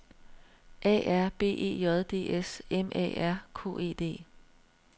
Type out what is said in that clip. A R B E J D S M A R K E D